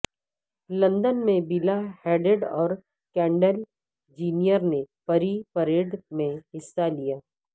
London میں Bella Hadid اور Kendall Jenner نے پری پریڈ میں حصہ لیا